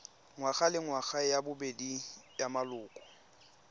ngwagalengwaga ya bobedi ya maloko